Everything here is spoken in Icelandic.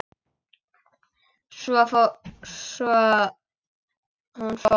Svo hún fór.